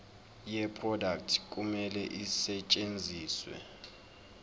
yeproduct kumele isetshenziswe